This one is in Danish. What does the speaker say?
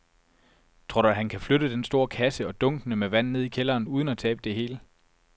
Tror du, at han kan flytte den store kasse og dunkene med vand ned i kælderen uden at tabe det hele?